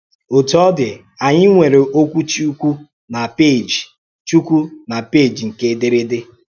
Otú ọ dị, ànyị nweèrè òkwù Chúkwù n’pééjì Chúkwù n’pééjì nke èdèrdè.